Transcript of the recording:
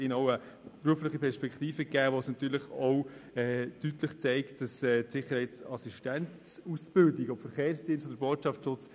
Sie erhalten dadurch eine berufliche Perspektive, welche deutlich zeigt, dass die Sicherheitsassistenzausbildung enorm wichtig ist.